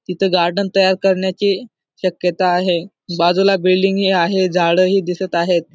तिथं गार्डन तयार करण्याची शक्यता आहे बाजूला बिल्डिंग ही आहे झाड ही दिसत आहेत.